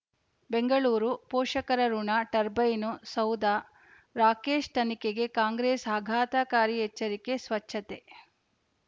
ಬೆಂಗಳೂರು ಪೋಷಕರಋಣ ಟರ್ಬೈನು ಸೌಧ ರಾಕೇಶ್ ತನಿಖೆಗೆ ಕಾಂಗ್ರೆಸ್ ಆಘಾತಕಾರಿ ಎಚ್ಚರಿಕೆ ಸ್ವಚ್ಛತೆ